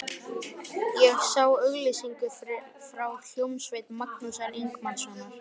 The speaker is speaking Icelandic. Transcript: Ég sá auglýsingu frá hljómsveit Magnúsar Ingimarssonar.